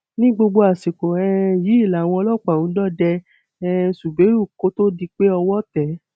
ní gbogbo àsìkò um yìí làwọn ọlọpàá ń dọdẹ um zubérù kó tóó di pé owó tẹ ẹ